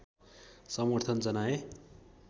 समर्थन जनाए